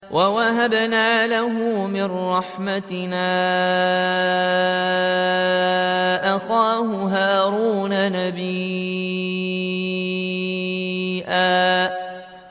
وَوَهَبْنَا لَهُ مِن رَّحْمَتِنَا أَخَاهُ هَارُونَ نَبِيًّا